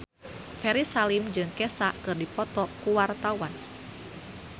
Ferry Salim jeung Kesha keur dipoto ku wartawan